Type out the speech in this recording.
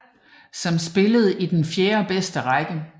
Sambonifacese som spillede i den fjerde bedste række